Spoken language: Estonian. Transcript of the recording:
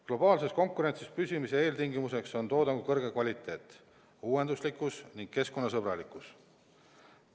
Globaalses konkurentsis püsimise eeltingimus on toodangu kõrge kvaliteet, uuenduslikkus ning keskkonnasõbralikkus.